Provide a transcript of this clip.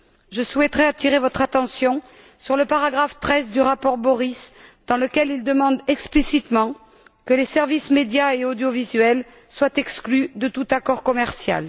Je souhaiterais attirer votre attention sur le paragraphe 13 du rapport de M. Borys, dans lequel celui ci demande explicitement que les services médias et audiovisuels soient exclus de tout accord commercial.